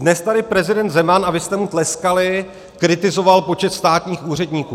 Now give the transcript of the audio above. Dnes tady prezident Zeman - a vy jste mu tleskali - kritizoval počet státních úředníků.